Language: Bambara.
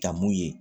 Kan mun ye